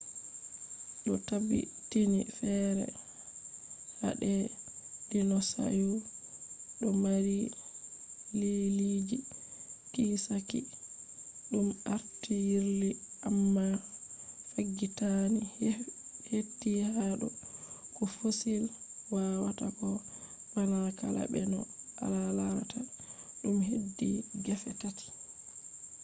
do tabbitini fere hader dinosaurs do mari liiliiji kiisaki dum arti yirli amma faggitani heti hado ko fossils wawatako bana kala be no alarata dum hedi gefe tati